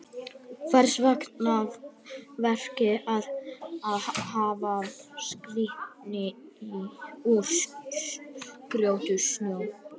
Hvers vegna ekki frekar að hafa skreytingar úr grjóti, snjó og klaka?